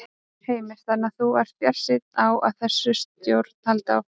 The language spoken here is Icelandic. Heimir: Þannig að þú ert bjartsýn á að þessi stjórn haldi áfram?